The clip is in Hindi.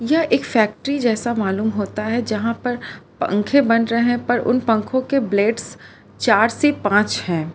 यह एक फैक्ट्री जैसा मालूम होता है जहां पर पंखे बन रहे हैं पर उन पंखों के ब्लेड्स चार से पांच हैं।